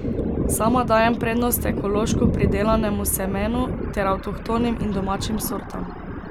Sama dajem prednost ekološko pridelanemu semenu ter avtohtonim in domačim sortam.